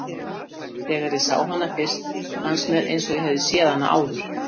Þegar ég sá hana fyrst fannst mér eins og ég hefði séð hana áður.